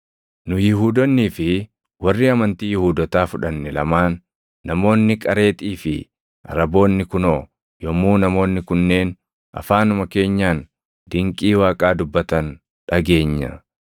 nu Yihuudoonnii fi warri amantii Yihuudootaa fudhanne lamaan, namoonni Qareexii fi Araboonni kunoo yommuu namoonni kunneen afaanuma keenyaan dinqii Waaqaa dubbatan dhageenya!”